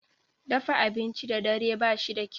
Dafa abinci da dare ba shi da kyau.